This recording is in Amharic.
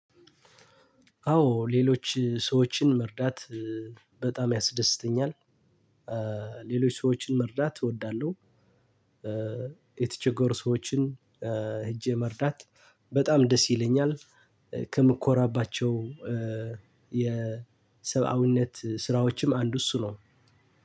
አዎ ሌሎች ሰዎችን መርዳት በጣም ያስደስተኛል። ሌሎች ሰዎችን መርዳት እወዳለሁ። የተቸገር ሰዎችን ሄጄ መርዳት በጣም ደስ ይለኛል። ከምኮራባቸው የሰብአዊነት ስራዎችም አንዱ እሱ ነው።